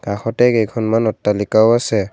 কাষতে কেইখনমান অট্টালিকাও আছে।